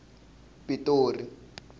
pitori